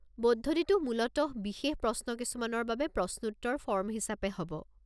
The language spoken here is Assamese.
পদ্ধতিটো মূলতঃ বিশেষ প্ৰশ্ন কিছুমানৰ বাবে প্ৰশ্নোত্তৰ ফৰ্ম হিচাপে হ'ব।